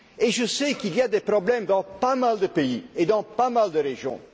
Je sais qu'il y a des problèmes dans pas mal de pays et dans pas mal de régions.